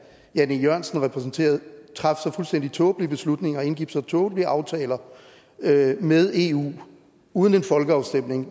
jan e jørgensen repræsenterede traf så fuldstændig tåbelige beslutninger og indgik så tåbelige aftaler med med eu uden en folkeafstemning